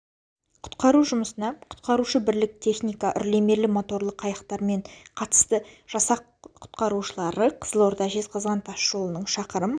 құтқару жұмысына құтқарушы бірлік техника үрлемелі моторлы қайықтарымен қатысты жасақ құтқарушылары қызылорда жезқазған тас жолының шақырым